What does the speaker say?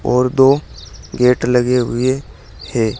और दो गेट लगे हुए हैं।